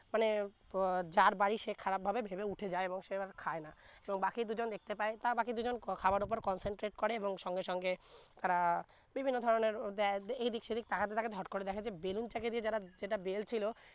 মানে প যার বাড়ি সে খারাপ ভাবে ভেবে উঠে যায় এবং সে খায় না এবং বাকি দু জন দেখতে পাই তারা বাকি দু জন খাবারের উপর consented করে এবং সঙ্গে সঙ্গে তারা বিভিন্ন ধরনের ও দে এই দিন সেই দিন তাকাতে তাকাতে হট করে দেখে যে বেলুন চাকি যারা যেটা বেলচ্ছিলো